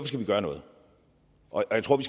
skal vi gøre noget og jeg tror